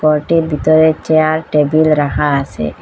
ঘরটির ভিতরে chair table রাখা আসে ।